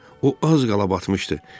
O az qala batmışdı.